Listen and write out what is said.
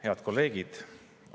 Head kolleegid!